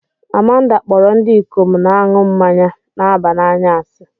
Amanda kpọrọ ndị ikom na-aṅụ mmanya na-aba n'anya asị